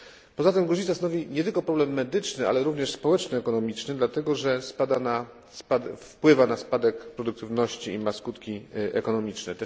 Poza tym gruźlica stanowi nie tylko problem medyczny, ale również społeczno ekonomiczny, dlatego, że wpływa na spadek produktywności i ma skutki ekonomiczne.